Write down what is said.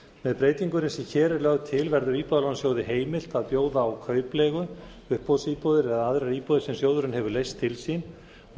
með breytingunni sem hér er lögð til verður íbúðalánasjóð heimilt að bjóða út kaupleigu uppboðsíbúðir eða aðrar íbúðir sem sjóðurinn hefur leyst til sín og